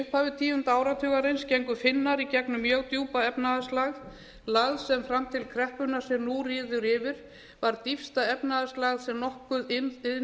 upphafi tíunda áratugarins gengu finnar í gegnum mjög djúpa efnahagslægð lægð sem fram til kreppunnar sem nú ríður yfir var dýpsta efnahagslægð sem nokkurt iðnvætt